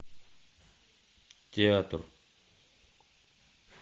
театр